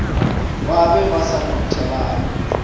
ba be ba sa ngwathelane